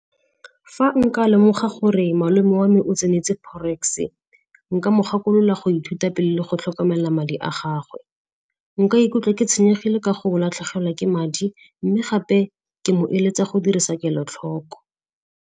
Fa nka lemoga gore malome wa me o tseneletse forex-e, nka mo gakolola go ithuta pele le go tlhokomela madi a gagwe. Nka ikutlwa ke tshwenyegile ka go latlhegelwa ke madi mme gape ke mo eletsa go dirisa kelotlhoko.